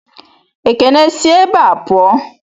Ekene, si ebé a puo!